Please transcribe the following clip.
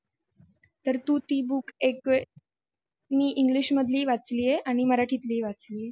तर तू ती book एक वेळ मी english मधले ही वाचली आहे आणि मराठीतली ही वाचली आहे